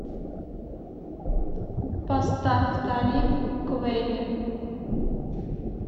поставь талиб квели